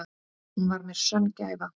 Hún var mér sönn gæfa.